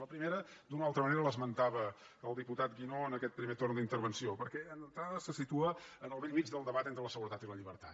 la primera d’una o altra manera l’esmentava el diputat guinó en aquest primer torn d’intervenció perquè d’entrada se situa en el bell mig del debat entre la seguretat i la llibertat